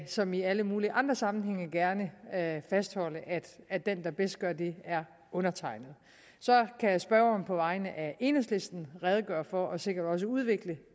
som i alle mulige andre sammenhænge gerne fastholde at den der bedst er det er undertegnede så kan spørgeren på vegne af enhedslisten redegøre for og sikkert også udvikle